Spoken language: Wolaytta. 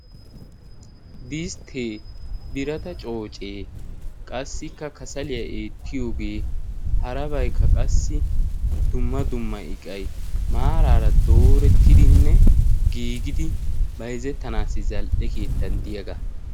disttee, birata coocee, qassikka kasaliyaa eettiyoogee, harabaykka qassi dumma dumma iqay maaraara doorettidinne giigidi bayzettanaassi zal"e keettan diyaagaa.